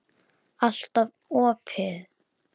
Alltaf opin.